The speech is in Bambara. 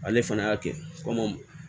Ale fana y'a kɛ komi